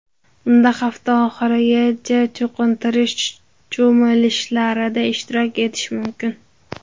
Unda hafta oxirigacha cho‘qintirish cho‘milishlarida ishtirok etish mumkin.